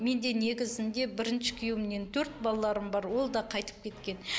менде негізінде бірінші күйеуімнен төрт балаларым бар ол да қайтып кеткен